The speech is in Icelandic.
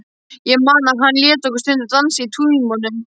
Ég man að hann lét okkur stundum dansa í tímunum.